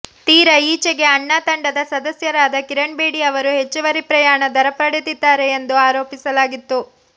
ತೀರ ಈಚೆಗೆ ಅಣ್ಣಾ ತಂಡದ ಸದಸ್ಯರಾದ ಕಿರಣ್ ಬೇಡಿ ಅವರು ಹೆಚ್ಚುವರಿ ಪ್ರಯಾಣ ದರ ಪಡೆದಿದ್ದಾರೆ ಎಂದು ಆರೋಪಿಸಲಾಗಿತ್ತು